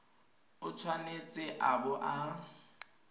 o tshwanetse a bo a